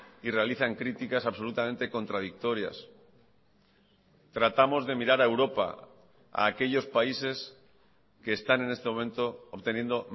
y realizan críticas absolutamente contradictorias tratamos de mirar a europa a aquellos países que están en este momento obteniendo